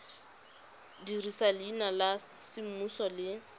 dirisa leina la semmuso le